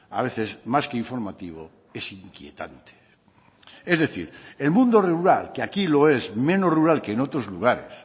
a veces más que informativo es inquietante es decir el mundo rural que aquí lo es menos rural que en otros lugares